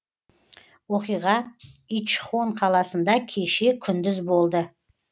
оқиға ичхон қаласында кеше күндіз болды